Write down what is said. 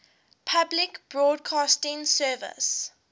public broadcasting service